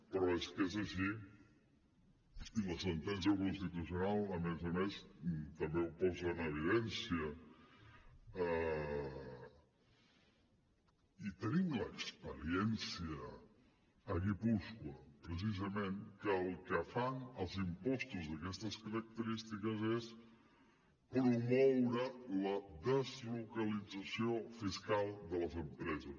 però és que és així i la sentència del constitucional a més a més també ho posa en evidència i tenim l’experiència a guipúscoa precisament que el que fan els impostos d’aquestes característiques és promoure la deslocalització fiscal de les empreses